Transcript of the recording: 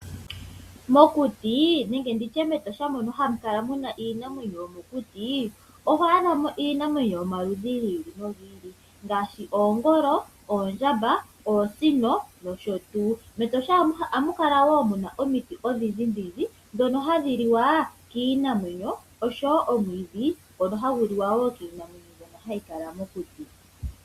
Mokuti nenge nditye metosha mono hamu kala muna iinamwenyo yomokuti oho adha mo iinamwenyo yomaludhi gi ili nogili ngaashi oongolo, oondjamba ,oosino nosho tuu metosha ohamuka la wo omiti odhindjidhindji oshowo omwiidhi ngoka hagu liwa kiinamwenyo mbyoka hayi kala mokuti.